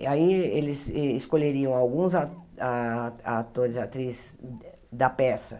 E aí eh eles escolheriam alguns ah ah atores e atrizes da peça